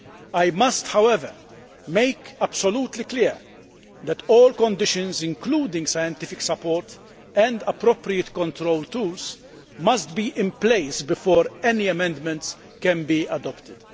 I must, however, make absolutely clear that all conditions, including scientific support and appropriate control tools, must be in place before any amendments can be adopted.